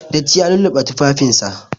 Datti ya lulluɓe tufafinsa.